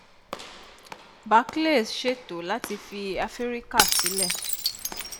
barclays ṣètò láti fi africa sílè